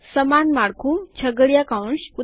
સમાન માળખું છગડીયા કૌંસ